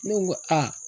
Ne ko aa